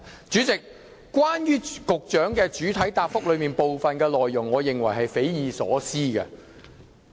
主席，我認為局長主體答覆的部分內容是匪夷所思的。